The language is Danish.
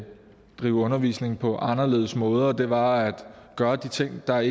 drive undervisning på anderledes måder det var at gøre de ting der